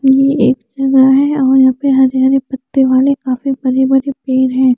ये एक जलरा है और यहा पे हरे हरे पत्ते वाले काफी बड़े बड़े पेर है।